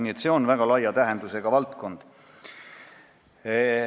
Nii et see on väga laia tähendusega valdkond.